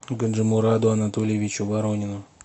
гаджимураду анатольевичу воронину